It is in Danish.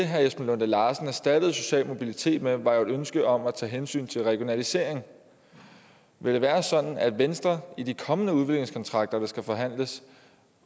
herre esben lunde larsen erstattede social mobilitet med var et ønske om at tage hensyn til regionalisering vil det være sådan at venstre i de kommende udviklingskontrakter der skal forhandles